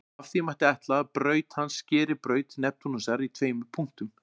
Af því mætti ætla að braut hans skeri braut Neptúnusar í tveimur punktum.